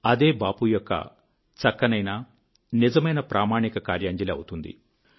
అదే బాపూ యొక్క చక్కనైన నిజమైనప్రామాణిక కార్యాంజలి అవుతుంది